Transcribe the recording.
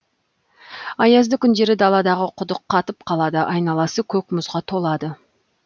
аязды күндері даладағы құдық қатып қалады айналасы көк мұзға толады